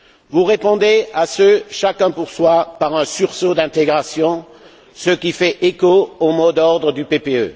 Vous répondez à ce chacun pour soi par un sursaut d'intégration, ce qui fait écho au mot d'ordre du groupe du PPE.